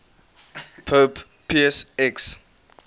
pope pius x